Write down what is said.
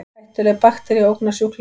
Hættuleg baktería ógnar sjúklingum